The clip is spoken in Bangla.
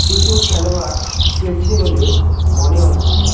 কিছু খেলোয়ার খেলছে বলে মনে হচ্ছে।